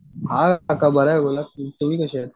हां काका बरा आहे बोला की. तुम्ही कसे आहेत?